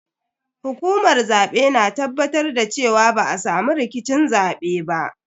Hukumar zabe na tabbatar da cewa ba a samu rikicin zabe ba.